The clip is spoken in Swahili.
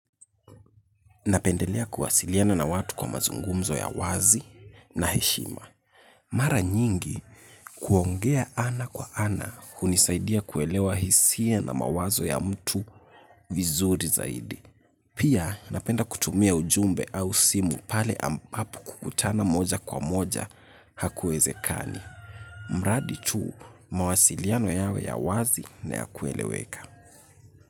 Napendelea kuwasiliana na watu kwa mazungumzo ya wazi na heshima. Mara nyingi kuongea ana kwa ana hunisaidia kuelewa hisia na mawazo ya mtu vizuri zaidi. Pia napenda kutumia ujumbe au simu pale ambapo kukutana moja kwa moja hakuwezekani. Mradi tu mawasiliano yawe ya wazi na ya kueleweka.